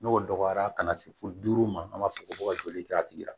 N'o dɔgɔyara ka na se fo duuru ma an b'a fɔ ko ka joli kɛ a tigi la